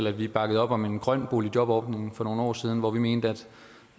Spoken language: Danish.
at vi bakkede op om en grøn boligjobordning for nogle år siden hvor vi mente